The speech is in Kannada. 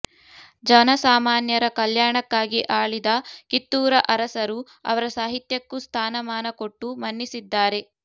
ಜನಸಾಮಾನ್ಯರ ಕಲ್ಯಾಣಕ್ಕಾಗಿ ಆಳಿದ ಕಿತ್ತೂರ ಅರಸರು ಅವರ ಸಾಹಿತ್ಯಕ್ಕೂ ಸ್ಥಾನಮಾನಕೊಟ್ಟು ಮನ್ನಿಸಿದ್ದಾರೆ